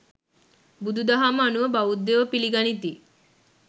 බුදුදහම අනුව බෞද්ධයෝ පිළිගනිති.